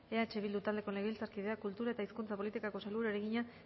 eh bildu taldeko legebiltzarkideak kultura eta hizkuntza politikako sailburuari egina